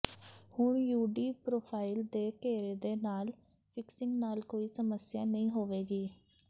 ਹੁਣ UD profile ਦੇ ਘੇਰੇ ਦੇ ਨਾਲ ਫਿਕਸਿੰਗ ਨਾਲ ਕੋਈ ਸਮੱਸਿਆ ਨਹੀਂ ਹੋਵੇਗੀ